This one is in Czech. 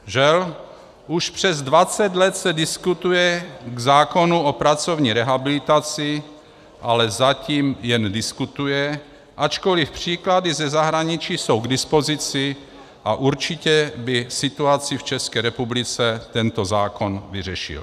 Žel, už přes 20 let se diskutuje k zákonu o pracovní rehabilitaci, ale zatím jen diskutuje, ačkoliv příklady ze zahraničí jsou k dispozici a určitě by situaci v České republice tento zákon vyřešil.